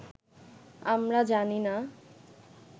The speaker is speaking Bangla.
আমরা জানি না